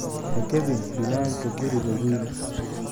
Ha jabin biinanka guriga wiil.